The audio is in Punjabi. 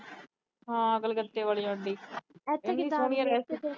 ਹਾਂ ਕਲਕਤੇ ਆਲੀ ਆਂਟੀ।